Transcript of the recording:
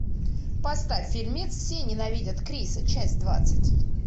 поставь фильмец все ненавидят криса часть двадцать